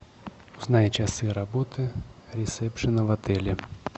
узнай часы работы ресепшена в отеле